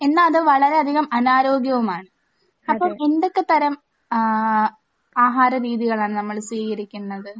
എന്നാൽ അത് വളരെയധികം അനാരോഗ്യവുമാണ്. അപ്പോൾ എന്തൊക്കെ തരം ഏഹ് ആഹാരരീതികളാണ് നമ്മൾ സ്വീകരിക്കേണ്ടത്?